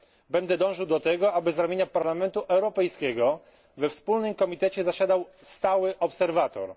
Będę dążył do tego, aby z ramienia Parlamentu Europejskiego we wspólnym komitecie zasiadał stały obserwator.